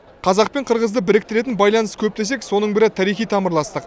қазақ пен қырғызды біріктіретін байланыс көп десек соның бірі тарихи тамырластық